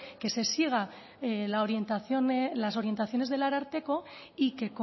que se sigan las orientaciones del ararteko y que